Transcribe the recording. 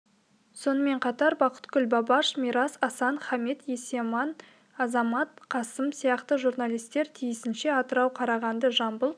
сонымен қатар бақытгүл бабаш мирас асан хамит есаман азамат қасым сияқты журналистер тиісінше атырау қарағанды жамбыл